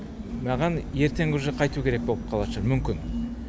маған ертең уже қайту керек боп қалатын шығар мүмкін